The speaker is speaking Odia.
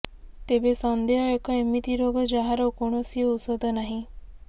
ତେବେ ସନ୍ଦେହ ଏକ ଏମିତି ରୋଗ ଯାହାର କୌଣସି ଔଷଧ ନାହିଁ